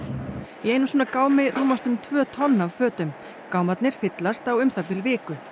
í einum svona gámi rúmast um tvö tonn af fötum gámarnir fyllast á um það bil viku